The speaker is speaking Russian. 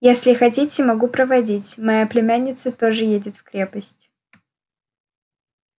если хотите могу проводить моя племянница тоже едет в крепость